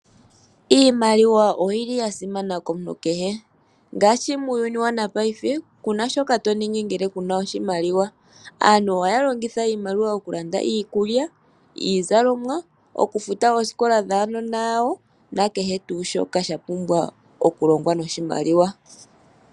Iimaliwa oyili yasimana komuntu kehe ngaashi muuyuni wopaife kuna shoka toningi ngele kuna oshimaliwa. Aantu ohaya longitha oshimaliwa okulanda iikulya, iizalomwa okufuta oosikola dhaanona yawo nakehe tuu shoka shapumbwa okulongwa noshimaliwa.